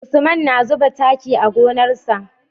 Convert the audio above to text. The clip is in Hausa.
Usman na zuba taki a gonar sa